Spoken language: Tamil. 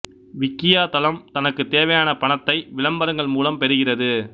விக்கியா தளம் தனக்குத் தேவையான பணத்தை விளம்பரங்கள் மூலம் பெறுகிறது